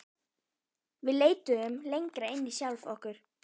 Við leituðum lengra inn í sjálf okkur.